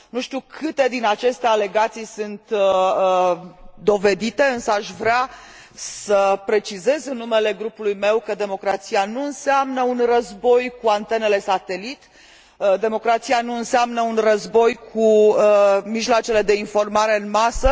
Nu știu câte din aceste alegații sunt dovedite, însă aș vrea să precizez în numele grupului meu că democrația nu înseamnă un război cu antenele satelit, democrația nu înseamnă un război cu mijloacele de informare în masă.